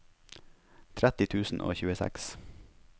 tretti tusen og tjueseks